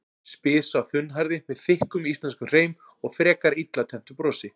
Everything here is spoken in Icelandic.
spyr sá þunnhærði með þykkum íslenskum hreim og frekar illa tenntu brosi.